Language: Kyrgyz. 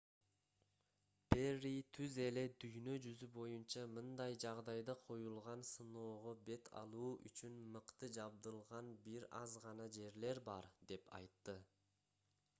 перри түз эле дүйнө жүзү боюнча мындай жагдайда коюлган сыноого бет алуу үчүн мыкты жабдылган бир аз гана жерлер бар деп айтты